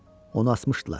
Onu asmışdılar.